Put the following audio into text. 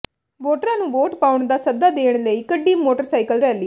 ਵੋਟਰਾਂ ਨੂੰ ਵੋਟ ਪਾਉਣ ਦਾ ਸੱਦਾ ਦੇਣ ਲਈ ਕੱਢੀ ਮੋਟਰਸਾਈਕਲ ਰੈਲੀ